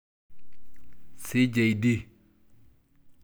CJD.